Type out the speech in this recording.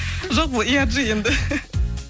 жоқ бол енді